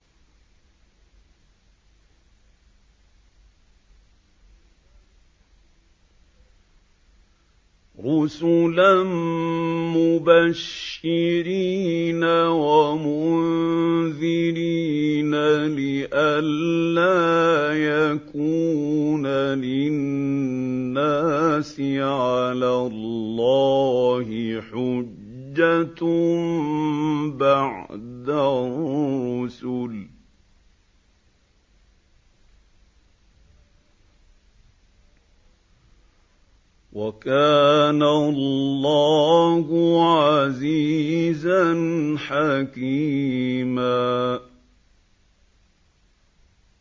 رُّسُلًا مُّبَشِّرِينَ وَمُنذِرِينَ لِئَلَّا يَكُونَ لِلنَّاسِ عَلَى اللَّهِ حُجَّةٌ بَعْدَ الرُّسُلِ ۚ وَكَانَ اللَّهُ عَزِيزًا حَكِيمًا